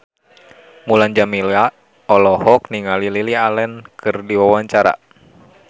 Mulan Jameela olohok ningali Lily Allen keur diwawancara